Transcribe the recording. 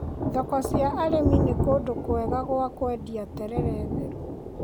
Thoko cia arĩmi nĩ kũndũ kwega gwa kũendia terere theru.